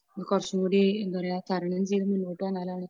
കുറച്ചുംകൂടി എന്താപറയുക, തരണം ചെയ്ത് മുന്നോട്ടുവന്നാലാണ്